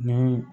Ni